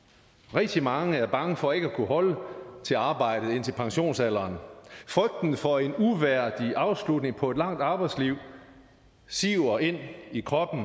rigtig mange er bange for ikke at kunne holde til arbejdet indtil pensionsalderen frygten for en uværdig afslutning på et langt arbejdsliv siver ind i kroppen